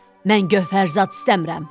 Mən gövhərzad istəmirəm.